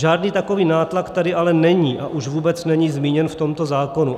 Žádný takový nátlak tady ale není, a už vůbec není zmíněn v tomto zákonu.